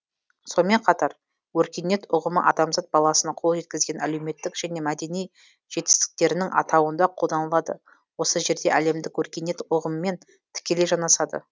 сонымен қатар өркениет ұғымы адамзат баласының қол жеткізген әлеуметтік және мәдени жетістіктерінің атауында қолданылады осы жерде әлемдік өркениет ұғымымен тікелей жанасады